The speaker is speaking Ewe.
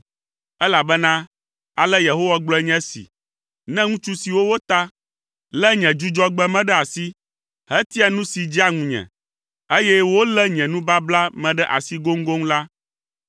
Elabena ale Yehowa gblɔe nye esi, “Ne ŋutsu siwo wota, lé nye Dzudzɔgbe me ɖe asi, hetia nu si dzea ŋunye, eye wolé nye nubabla me ɖe asi goŋgoŋ la,